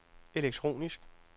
elektronisk